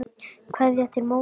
Kveðja til móður.